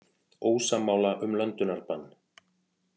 Ósammála um löndunarbann